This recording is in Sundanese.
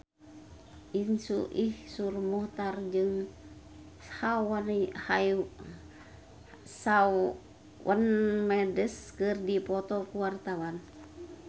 Iszur Muchtar jeung Shawn Mendes keur dipoto ku wartawan